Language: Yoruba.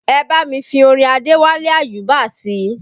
Ẹ bá mi fi orin Adewale Ayuba sí i